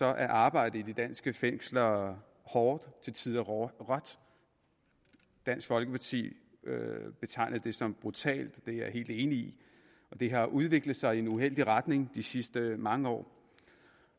er arbejdet i de danske fængsler hårdt til tider dansk folkeparti betegnede det som brutalt og det er jeg helt enig i det har udviklet sig i en uheldig retning de sidste mange år